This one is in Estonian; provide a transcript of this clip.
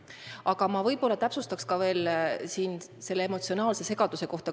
Aga ma täpsustan veel selle emotsionaalse segaduse kohta.